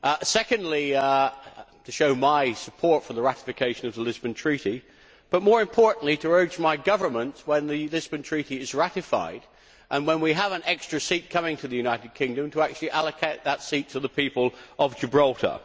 secondly, to show my support for the ratification of the Lisbon Treaty, but, more importantly, to urge my Government, when the Lisbon Treaty is ratified and when we have an extra seat coming to the United Kingdom, to allocate that seat to the people of Gibraltar.